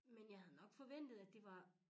Men jeg havde nok forventet at det var